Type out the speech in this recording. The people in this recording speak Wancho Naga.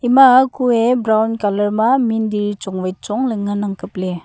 ima ku ee brown colour ma mindir chong vai chong ley nganang kapley.